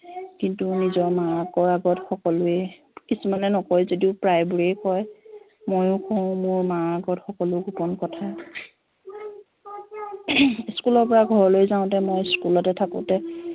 কিন্তু নিজৰ মাকত সকলোৱে কিছুমানে নকয় যদিও প্ৰায়বোৰেই কয় মইওঁ কওঁ মোৰ মাৰ আগত সকলো গোপন কথা school পৰা ঘৰলৈ যাওঁতে মই school থাকোতে